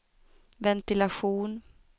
ventilation